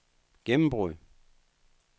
gennembrud